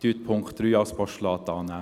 Nehmen Sie den Punkt 3 als Postulat an.